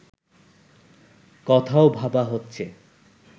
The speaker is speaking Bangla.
কথাও ভাবা হচ্ছে